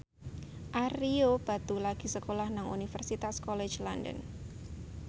Ario Batu lagi sekolah nang Universitas College London